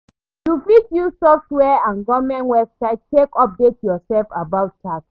You fit use software and goverment website take update yourself about tax